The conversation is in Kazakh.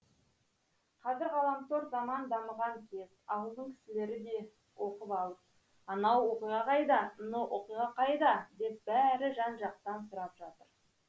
қазір ғаламтор заман дамыған кез ауылдың кісілері де оқып алып анау оқиға қайда мынау оқиға қайда деп бәрі жан жақтан сұрап жатыр